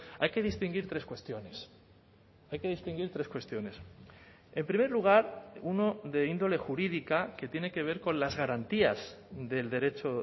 hay que distinguir tres cuestiones hay que distinguir tres cuestiones en primer lugar uno de índole jurídica que tiene que ver con las garantías del derecho